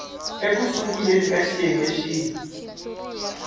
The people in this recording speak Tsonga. eku sunguleni ka xiyenge xin